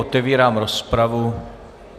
Otevírám rozpravu.